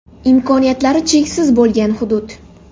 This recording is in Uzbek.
Imkoniyatlari cheksiz bo‘lgan hudud.